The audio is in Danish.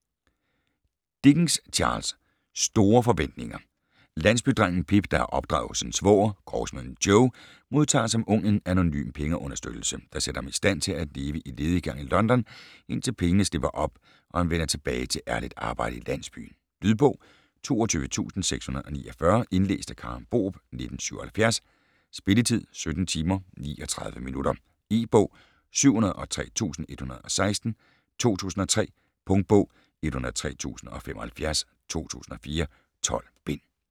Dickens, Charles: Store forventninger Landsbydrengen "Pip", der er opdraget hos sin svoger, grovsmeden Joe, modtager som ung en anonym pengeunderstøttelse, der sætter ham i stand til at leve i lediggang i London, indtil pengene slipper op, og han vender tilbage til ærligt arbejde i landsbyen. Lydbog 22649 Indlæst af Karen Borup, 1977. Spilletid: 17 timer, 39 minutter E-bog 703116 2003. Punktbog 103075 2004. 12 bind.